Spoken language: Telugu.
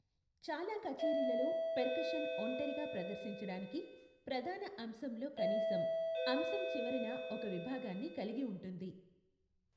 చాలా కచేరీలలో, పెర్కషన్ ఒంటరిగా ప్రదర్శించడానికి, ప్రధాన అంశంలో కనీసం, అంశం చివరన ఒక విభాగాన్ని కలిగి ఉంటుంది.